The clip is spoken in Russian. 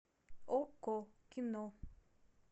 окко кино